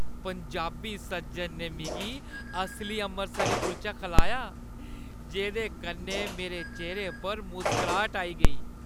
पंजाबी सज्जन ने मिगी असली अमृतसरी कुलचा खलाया जेह्दे कन्नै मेरे चेह्‌रे उप्पर मुसकराहट आई गेई।